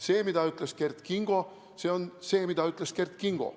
See, mida ütles Kert Kingo, on see, mida ütles Kert Kingo.